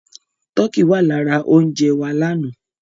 Tọkí wà lára oúnjẹ wa lánàá.